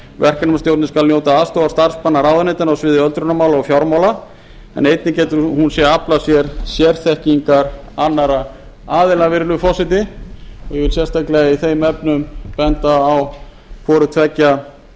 verkefnastjórnin skal njóta aðstoðar starfsmanna ráðuneytanna á sviði öldrunarmála og fjármála en einnig getur hún aflað sér sérþekkingar annarra aðila virðulegi forseti og ég vil sérstaklega í þeim efnum benda á hvoru tveggja